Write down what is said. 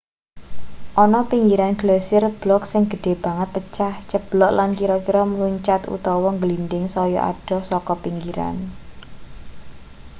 ana pinggiran glasier blok sing gedhe banget pecah ceblok lan kira-kira mluncat utawa ngglindhing saya adoh saka pinggiran